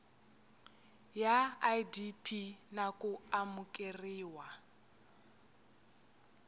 ya idp na ku amukeriwa